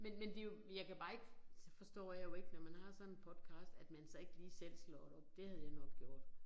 Men men det jo jeg kan bare ikke så forstår jeg jo ikke når man har sådan en podcast at man så ikke lige selv slår det op det havde jeg nok gjort